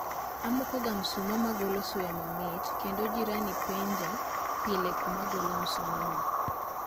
Amoko ga msumaa magolo suya mamit kendo jirani penja pile kuma agolo msuma no